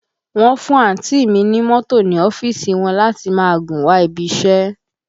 Wọ́n fún àǹtí ì mi ní mọ́tò ní ọ́fíìsì wọn láti máa gùn wá ibi iṣẹ́